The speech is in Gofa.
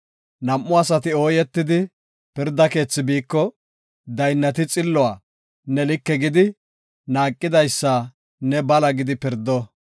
Nam7u asati ooyetidi pirda keethi biiko, daynnati xilluwa ne like gidi, naaqidaysa ne bala gidi pirdo.